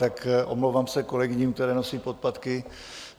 Tak omlouvám se kolegyním, které nosí podpatky.